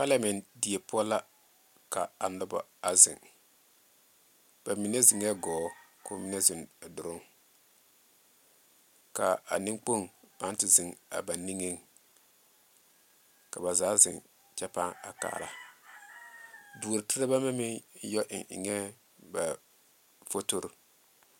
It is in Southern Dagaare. Palameɛ die poɔ la ka a noba zeŋe ba mine zeŋe gɔɔ ka ba mine zeŋe doloŋ ka a nemkpoŋ pãã te zeŋe a ba niŋe ka zaa zeŋe a kyɛ a pãã kare duore terebɛ.